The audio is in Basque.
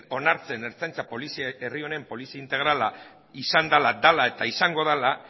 onartzen ertzaintza herri honen polizia integrala izan dela dela eta izango dela